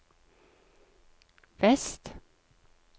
vest